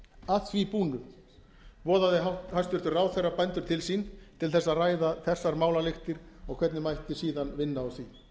að því búnu boðaði hæstvirtur ráðherra bændur til sín til þess að ræða þessar málalyktir og hvernig mætti síðan vinna úr því